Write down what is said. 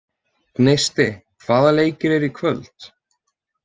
Gneisti, hvaða leikir eru í kvöld?